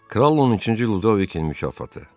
Kral 13-cü Ludovikin mühafizəti.